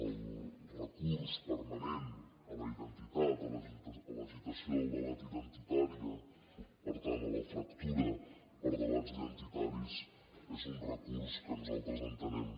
el recurs permanent a la identitat a l’agitació del debat identitari per tant a la fractura per debats identitaris és un recurs que nosaltres entenem